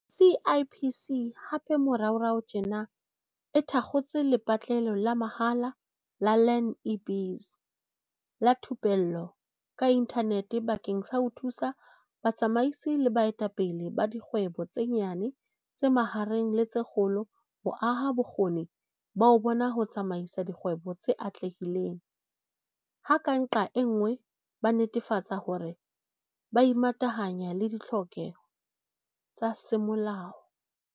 CIPC hape moraorao tjena e thakgotse lepatlelo la mahala la Learn-i-Biz la thupello ka inthanete bakeng sa ho thusa batsamaisi le baetapele ba dikgwebo tse nyane, tse mahareng le tse kgolo ho aha bokgoni ba bona ba ho tsamaisa dikgwebo tse atlehileng, ha ka nqa e nngwe ba netefatsa hore ba imatahanya le ditlhokeho tsa semolao.